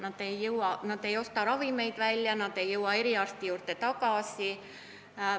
Väga paljud ei osta ravimeid välja, nad ei jõua eriarsti juurde tagasi.